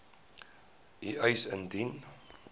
u eis indien